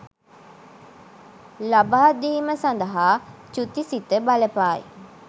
ලබාදීම සඳහා චුති සිත බලපායි